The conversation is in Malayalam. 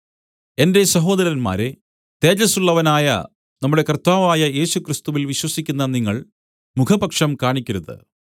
എന്റെ സഹോദരന്മാരേ തേജസ്സുള്ളവനായ നമ്മുടെ കർത്താവായ യേശുക്രിസ്തുവിൽ വിശ്വസിക്കുന്ന നിങ്ങൾ മുഖപക്ഷം കാണിക്കരുത്